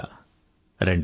అదే పండుగ